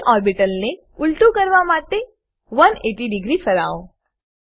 પ ઓર્બિટલ ને ઉલટું કરવા માટે180 ડિગ્રી ફરાવો